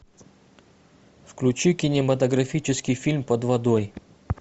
включи кинематографический фильм под водой